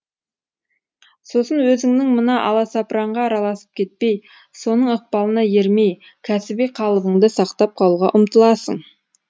сосын өзіңнің мына аласапыранға араласып кетпей соның ықпалына ермей кәсіби қалыбыңды сақтап қалуға ұмтыласың